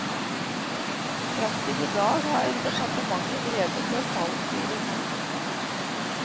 Frem til i dag har departementet drevet detaljstyring.